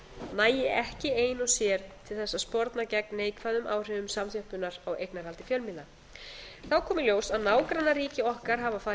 nægi ekki ein og sér til þess að sporna gegn neikvæðum áhrifum samþjöppunar á eignarhaldi fjölmiðla þá kom í ljós að nágrannaríki okkar hafa farið